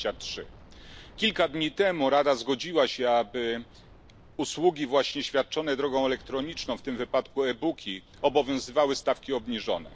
23 Kilka dni temu Rada zgodziła się, aby właśnie na usługi świadczone drogą elektroniczną, w tym wypadku e booki, obowiązywały stawki obniżone.